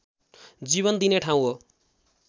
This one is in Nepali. जीवन दिने ठाउँ हो